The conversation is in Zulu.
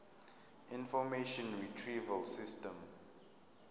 information retrieval system